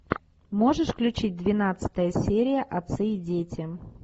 можешь включить двенадцатая серия отцы и дети